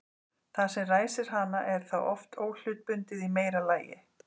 Það sem ræsir hana er þá oft óhlutbundið í meira lagi.